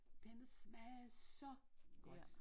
Den smage så godt